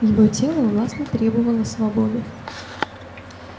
его тело властно требовало свободы